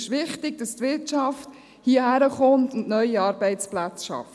Es ist wichtig, dass die Wirtschaft hierherkommt und neue Arbeitsplätze schafft.